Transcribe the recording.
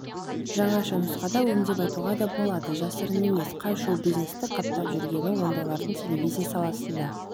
жаңаша нұсқада өңдеп айтуға да болады жасырын емес қой шоу-бизнесте қаптап жүргені ондайлардың телевизия саласында